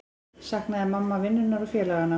Saknaði mamma vinnunnar og félaganna?